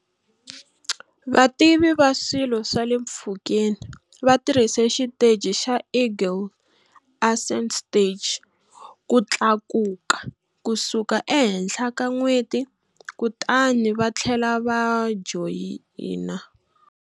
Vativi va swilo swa le mpfhukeni va tirhise xiteji xa Eagle ascent stage ku tlakuka kusuka ehenhla ka n'weti kutani va tlhela va joyina